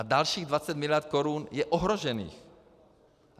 A dalších 20 miliard korun je ohrožených.